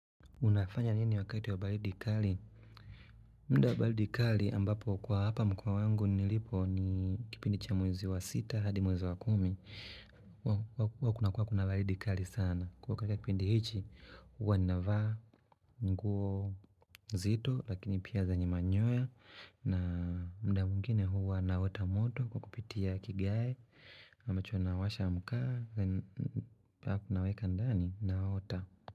Unafanya nini wakati wa baridi kali? Muda baridi kali ambapo kwa hapa mkoa wangu nilipo ni kipindi cha mwezi wa sita hadi mwezi wa kumi Huku huwa kuna baridi kali sana katika kipindi hichi, huwa ninavaa nguo nzito lakini pia zenye manyoya na muda mwingine huwa naota moto kwa kupitia kigae ama nawasha makaa, kunaweka ndani naota.